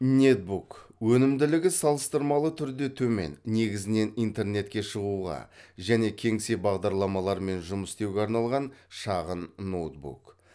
нетбук өнімділігі салыстырмалы түрде төмен негізінен интернетке шығуға және кеңсе бардарламаларымен жұмыс істеуге арналған шағын ноутбук